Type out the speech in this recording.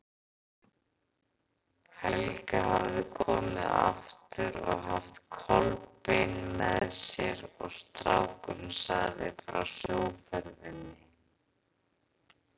Helga hafði komið aftur og haft Kolbein með sér og strákurinn sagði frá sjóferðinni.